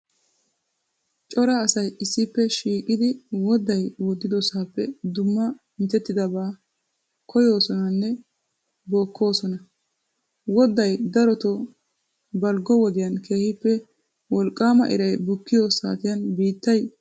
Cora asay issippe shiiqidi wodday woddidosaappe dumma mitettidaba bookkoosonanne koyoosona. Wodday daroto baliggo wodiyan keehippe woliqqaama irayi bukkiyo saatiyan biittay munaqettin kiyiyaaba.